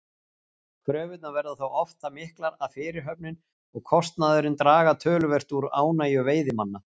Kröfurnar verða þó oft það miklar að fyrirhöfnin og kostnaðurinn draga töluvert úr ánægju veiðimanna.